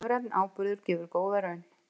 Lífrænn áburður gefur góða raun